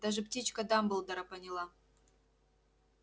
даже птичка дамблдора поняла